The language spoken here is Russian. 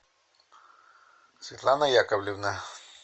светлана яковлевна